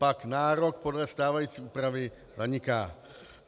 Pak nárok podle stávající úpravy zaniká.